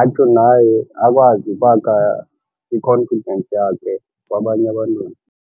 atsho naye akwazi ukwakha i-confidence yakhe kwabanye abantwana.